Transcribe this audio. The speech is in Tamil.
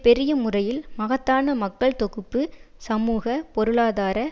பெரிய முறையில் மகத்தான மக்கள் தொகுப்பு சமூக பொருளாதார